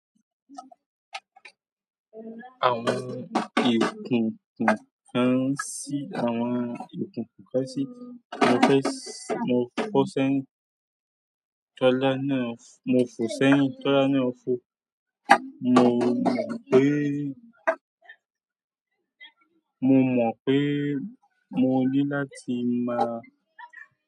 Àwọn ìkùnkùn kán sí àwọn ìkùnkùn kán sí. Mo fẹ́ s-- mo fọ sẹ́yìn. Tọ́lá náà-- mo fò sẹ́yìn. Tọ́lá náà fò. Mo mọ̀ pé, mo mọ̀ pé mo ní láti máa.